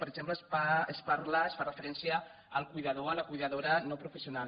per exemple es parla es fa referència al cuidador o la cuidadora no professional